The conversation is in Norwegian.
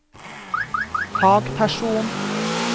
fagperson